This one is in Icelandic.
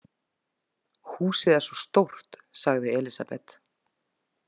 Húsið er svo stórt, sagði Elísabet.